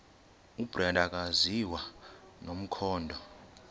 ubrenda akaziwa nomkhondo